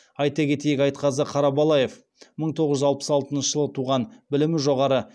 айта кетейік айтқазы қарабалаев мың тоғыз жүз алпыс алтыншы жылы туған білімі жоғары